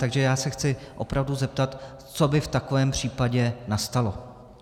Takže já se chci opravdu zeptat, co by v takovém případě nastalo.